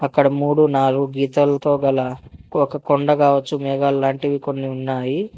అక్కడ మూడు నాలుగు గీతలతో గలా ఒక కొండగావచ్చు మెగాలాంటివి కొన్ని ఉన్నాయి.